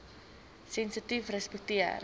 sensitiefrespekteer